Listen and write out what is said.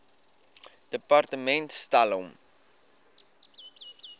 departement stel hom